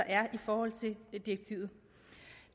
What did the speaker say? er i forhold til direktivet